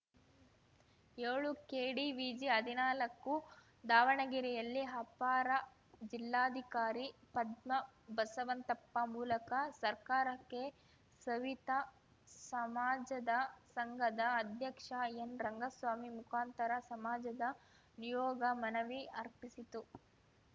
ಯೋಳುಕೆಡಿವಿಜಿಹದಿನಾಲಕ್ಕು ದಾವಣಗೆರೆಯಲ್ಲಿ ಅಪರ ಜಿಲ್ಲಾಧಿಕಾರಿ ಪದ್ಮಾ ಬಸವಂತಪ್ಪ ಮೂಲಕ ಸರ್ಕಾರಕ್ಕೆ ಸವಿತಾ ಸಮಾಜದ ಸಂಘದ ಅಧ್ಯಕ್ಷ ಎನ್‌ರಂಗಸ್ವಾಮಿ ಮುಖಾಂತರ ಸಮಾಜದ ನಿಯೋಗ ಮನವಿ ಅರ್ಪಿಸಿತು